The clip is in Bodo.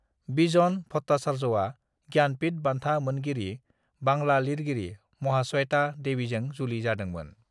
बिजन भट्टाचार्यआ ज्ञानपीठ बान्था मोनगिरि बांला लिरगिरि महाश्वेता देवीजों जुलि जादोंमोन।